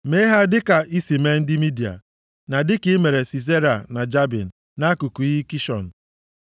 Mee ha dịka i si mee ndị Midia, na dịka i mere Sisera na Jabin, + 83:9 Eze Jabin na nwa ya Sisera, bụ ndị Debọra meriri nʼagha nʼugwu Taboa. \+xt Nkp 4:15-24; 5:20-21.\+xt* nʼakụkụ iyi Kishọn,